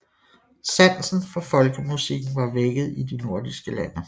Sansen for folkemusikken var vækket i de nordiske lande